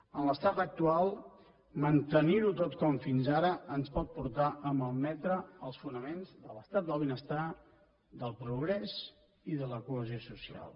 en l’estat actual mantenir ho tot com fins ara ens pot portar a malmetre els fonaments de l’estat del benestar del progrés i de la cohesió social